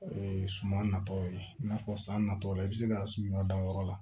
O ye suman natɔw ye i n'a fɔ san natɔw la i bɛ se ka ɲɔ dan yɔrɔ la